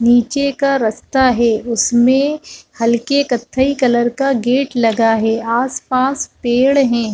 नीचे का रस्ता है उसमे हलके कथई कलर का है गेट लगा है आस - पास पेड़ है।